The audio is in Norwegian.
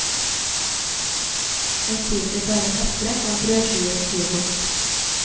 Jeg spiser bare et eple og en brødskive til frokost.